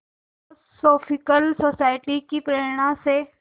theosophical Society की प्रेरणा से